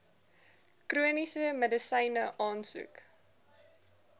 chroniese medisyne aansoek